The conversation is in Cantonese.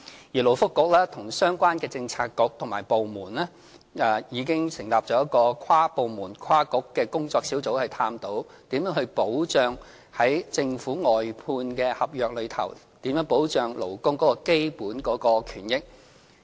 勞工及福利局和相關的政策局和部門已經成立一個跨部門、跨局的工作小組，以探討如何在政府外判合約中保障勞工的基本權益。